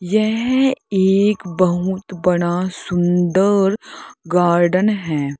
यह एक बहुत बड़ा सुंदर गार्डन है।